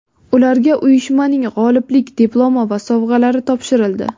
Ularga uyushmaning g‘oliblik diplomi va sovg‘alari topshirildi.